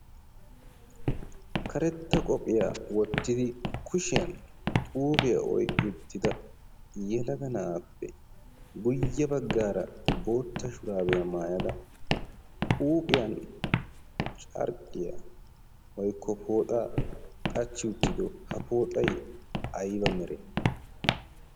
Karetta qophiyaa wottidi kushiyan xuufiyaa oyqqi uttida yalaga na'aappe guyye baggaara bootta shuraabiyaa maayada huuphiyan carqqiyaa woykko pooxaa qachchi uttido ha pooxay ayba mere?